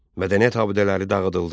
Mədəniyyət abidələri dağıdıldı.